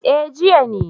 eh jiya ne